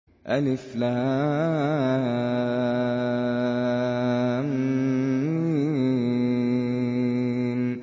الم